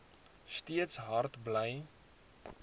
steeds hard bly